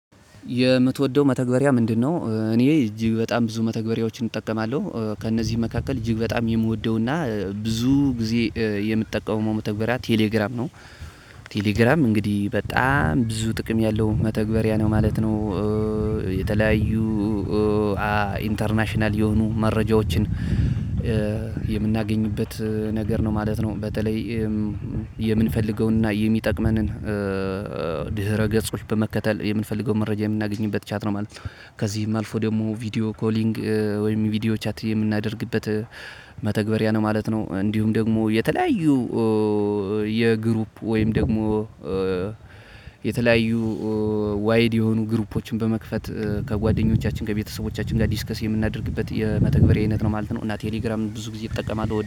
የምትወደው መተግበሪያ ምንድነው? እኔ እጅግ በጣም ብዙ መተግበሪያዎችን እጠቀማለሁ ከእነዚህ መካከል እጅግ በጣም የምወደውና ብዙ ጊዜ የምጠቀመው መተግበሪያ ቴሌግራም ነው ቴሌግራም እንግዲህ በጣም ብዙ ጥቅም ያለው መተግበሪያ ነው ማለት ነው። የተለያዩ ኢንተርናሽናል የሆኑ መረጃዎችን የምናገኝበት ነገር ነው ማለት ነው። በተለይ የምንፈልገውንና የሚጠቅመንን ድህረ ገጾች በመከተል የምንፈልገውን መረጃ የምናገኝበት ቻት ነው ማለት ነው። ከዚህም አልፎ ደግሞ ቪዲዮ ኮሊንግ ወይም ቪዲዮ ቻት የምናደርግበት መተግበሪያ ነው ማለት ነው። እንዲሁም ደግሞ የተለያዩ የግሩፕ ወይም ደግሞ የተለያዩ ዋይድ የሆኑ ግሩፖችን በመክፈት ከጓደኞቻችን ከቤተሰቦቻችን ጋር ዲስከስ የምናደርግበት የመተግበሪያ አይነት ነው ማለት ነው። እና ቴሌግራም ብዙ ጊዜ ይጠቀማል